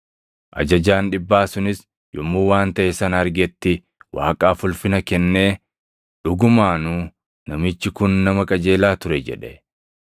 Ajajaan dhibbaa sunis yommuu waan taʼe sana argetti Waaqaaf ulfina kennee, “Dhugumaanuu namichi kun nama qajeelaa ture” jedhe.